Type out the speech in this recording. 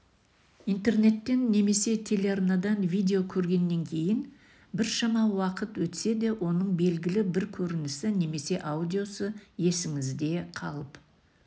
интернеттен немесе телеарнадан видео көргеннен кейін біршама уақыт өтсе де оның белгілі бір көрінісі немесе аудиосы есіңізде қалып